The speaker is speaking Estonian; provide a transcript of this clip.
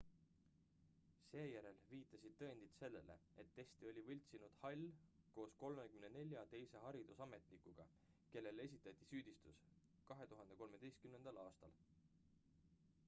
seejärel viitasid tõendid sellele et teste oli võltsinud hall koos 34 teise haridusametnikuga kellele esitati süüdistus 2013 aastal